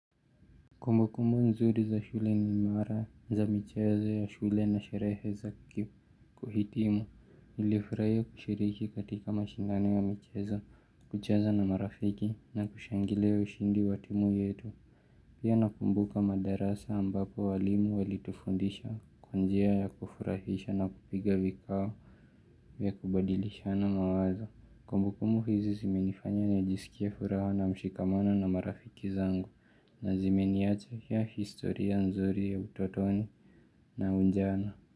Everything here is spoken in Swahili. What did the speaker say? Kumbukumbu nzuri za shule ni imara za michezo ya shule na sherehe za kuhitimu nilifurahia kushiriki katika mashindano ya michezo kucheza na marafiki na kushangilia ushindi wa timu yetu Pia nakumbuka madarasa ambapo walimu walitufundisha kwa njia ya kufurahisha na kupiga vikao vya kubadilishana mawazo Kumbukumbu hizi zimenifanya najisikie furaha na mshikamano na marafiki zangu na zimeniachia historia nzuri ya utotoni na ujana.